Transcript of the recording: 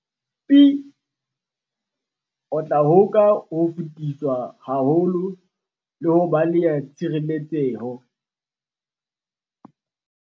Pi, o tla hoka ho fetiswa haholo le ho baleha tshireletseho.